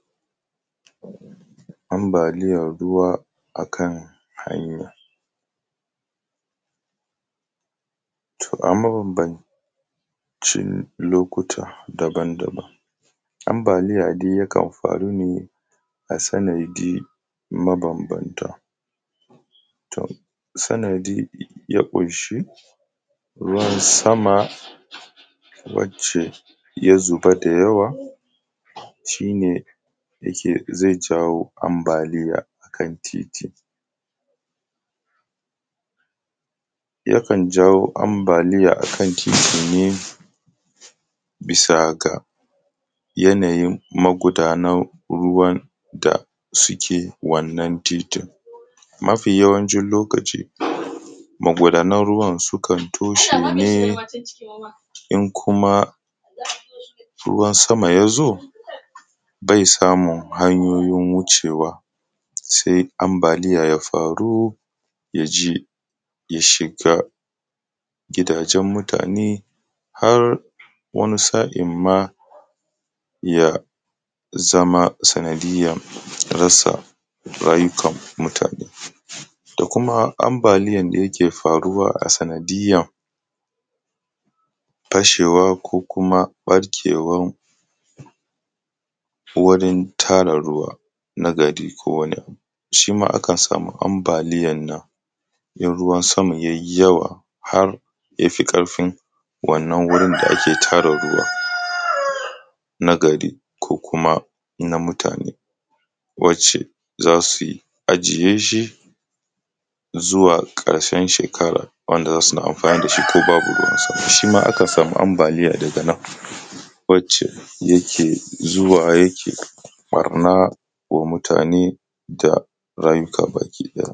Ambaliyan ruwa akan hanya, to am mabambancin lokuta daban daban ambaliya dai yakan faru ne a sanadi mabambanta to sanadi ya ƙunshi ruwan sama wacce ya zuba da yawa shi ne yake zai jawo ambaliya akan titi yakan jawo ambaliya akan titi ne bisa ga yanayin magudanan ruwan da suke wannan titin mafi yawancin lokaci magudanan ruwan sukan toshe ne in kuma ruwan sama ya zo bai samun hanyoyiyn wuce wa sai ambaliya ya faru ya je ya shiga gidajen mutane har wani sa`in ma ya zama sanadiyan rasa rayukan mutane da kuma mabaliyan da yake faruwa a sanadiyan fashewa ko kuma ɓarkewan wurin tara ruwa na gari ko wani abu shi ma akan samu ambaliyan nan in ruwan sama yayi yawa har yafi ƙarfin wannan wurin da ake tara ruwa na gari ko kuma na mutane wacce za suyi ajiye shi zuwa ƙarshen shekara wanda za suna mafani da shi ko babu ruwan sama shi ma akan samu ambaliya daga nan wacce yake zuwa yake ɓarna wa mutane da rayukan bayi.